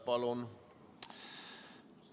Palun!